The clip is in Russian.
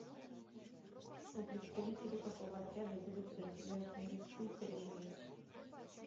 у представителей какого отряда зубы подразделяются на резцы и коренные